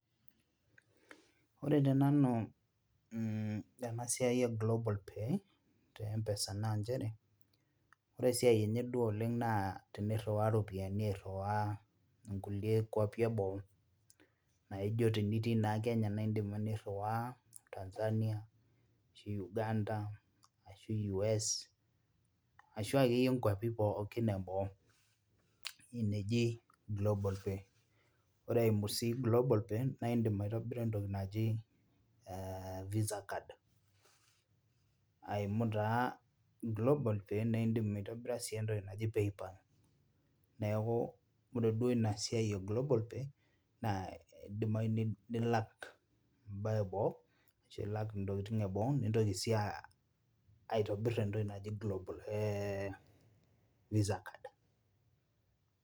Ore tenanu mh tena siai e global pay te mpesa nanchere ore esiai enye duo oleng naa tenirriwaa iropiani airriwaa inkulie kuapi eboo naijo tenitii naa kenya naindim nirrriwaa Tanzania ashu Uganda ashu Yues ashu akeyie inkuapi pookin eboo ina eji global pay ore eimu sii global pay naindim aitobira entoki naji eh visa card aimu taa global paya naindim aitobbira sii entoki naji PayPal niaku ore duo ina siai e global pay naa idimai nilak embaye eboo ashu ilak intokitin eboo nintoki sii aitobirr entoki naji global eh visa card.